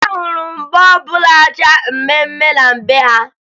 Ahụrụ m bọọbụ na-acha mmemme na be ha